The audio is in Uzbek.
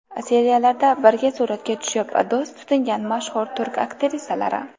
Seriallarda birga suratga tushib, do‘st tutingan mashhur turk aktrisalari.